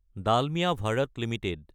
Dalmiya Bharat Ltd